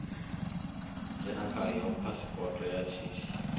dzhena khao phasipoto ya shishi